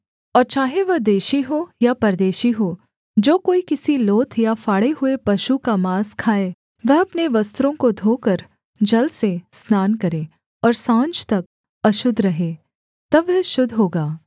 और चाहे वह देशी हो या परदेशी हो जो कोई किसी लोथ या फाड़े हुए पशु का माँस खाए वह अपने वस्त्रों को धोकर जल से स्नान करे और साँझ तक अशुद्ध रहे तब वह शुद्ध होगा